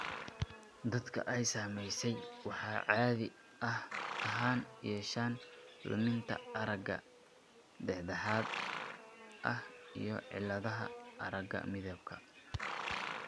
Dadka ay saamaysay waxay caadi ahaan yeeshaan luminta aragga dhexdhexaad ah iyo cilladaha aragga midabka.